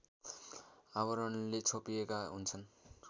आवरणले छोपिएका हुन्छन्